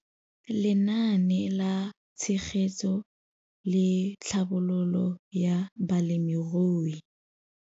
Lenaane la Tshegetso le Tlhabololo ya Balemirui.